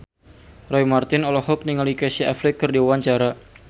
Roy Marten olohok ningali Casey Affleck keur diwawancara